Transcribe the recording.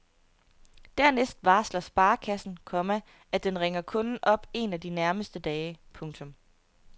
Dernæst varsler sparekassen, komma at den ringer kunden op en af de nærmeste dage. punktum